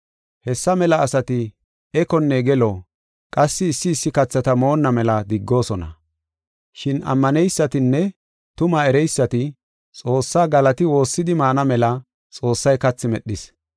Hessa mela asati ekonne gelo qassi issi issi kathata moonna mela diggoosona. Shin ammaneysatinne tumaa ereysati Xoossaa galati woossidi maana mela Xoossay kathi medhis.